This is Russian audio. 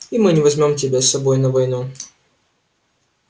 и мы не возьмём тебя с собой на войну